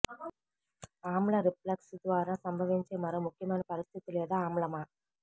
ఆమ్ల రిఫ్లక్స్ ద్వారా సంభవించే మరో ముఖ్యమైన పరిస్థితి లేదా ఆమ్లమా